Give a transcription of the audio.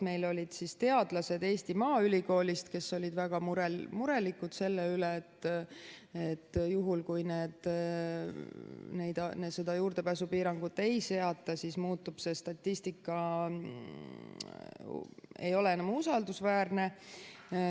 Meil olid teadlased Eesti Maaülikoolist, kes olid väga murelikud selle pärast, et juhul, kui seda juurdepääsupiirangut ei seata, siis see statistika ei ole enam usaldusväärne.